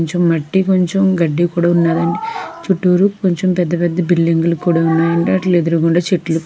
కొంచెం మట్టి కొంచెం గడ్డి కూడా ఉన్నదండి చుట్టూరూ కొంచం పెద్ద పెద్ద బిల్డింగులు కూడా ఉన్నాయండి అట్లి ఎదురుగుండా చెట్లు --